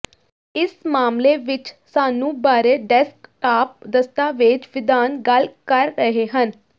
ਇਸ ਮਾਮਲੇ ਵਿੱਚ ਸਾਨੂੰ ਬਾਰੇ ਡੈਸਕਟਾਪ ਦਸਤਾਵੇਜ਼ ਵਿਧਾਨ ਗੱਲ ਕਰ ਰਹੇ ਹਨ